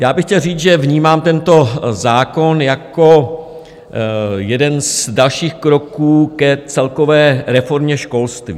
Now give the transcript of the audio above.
Já bych chtěl říct, že vnímám tento zákon jako jeden z dalších kroků k celkové reformě školství.